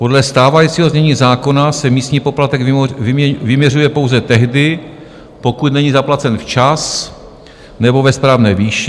Podle stávajícího znění zákona se místní poplatek vyměřuje pouze tehdy, pokud není zaplacen včas nebo ve správné výši.